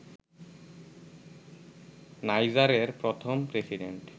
নাইজারের প্রথম প্রেসিডেন্ট